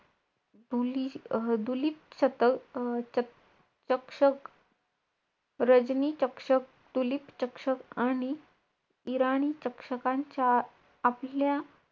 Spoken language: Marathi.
ऐक ना मला जरा तुझ्या एक program बद्दल समजावशील का कसं करतोय ते.